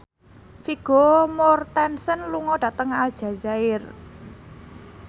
Vigo Mortensen lunga dhateng Aljazair